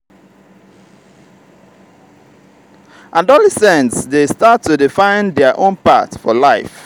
adolescents dey start to dey find their own path for life.